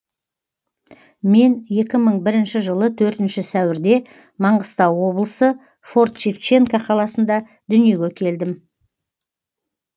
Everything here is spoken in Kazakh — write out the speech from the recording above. мен екі мың бірінші жылы төртінші сәуірде маңғыстау облысы форт шевченко қаласында дүниеге келдім